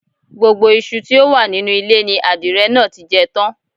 Gbogbo iṣu tí ó wà nínú ilé ni adìrẹ náà ti jẹ tán